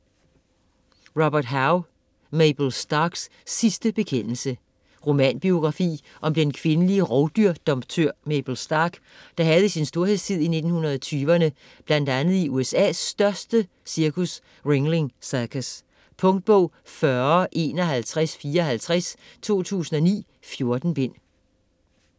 Hough, Robert: Mabel Starks sidste bekendelse Romanbiografi om den kvindelige rovdyrdomptør Mabel Stark, der havde sin storhedstid i 1920'erne bl.a. i USA største cirkus, Ringeling Cirkus. Punktbog 405154 2009. 14 bind.